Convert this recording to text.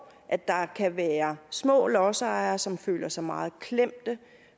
at der kan være små lodsejere som føler sig meget klemte